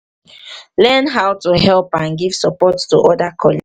learn how to help and give support to oda coll